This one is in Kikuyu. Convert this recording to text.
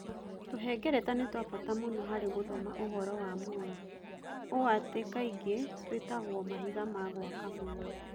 Tũhengereta nĩ twa bata mũno harĩ gũthoma ũhoro wa muoyo, ũũ atĩ kaingĩ twĩtagwo "mahiga ma gwaka muoyo".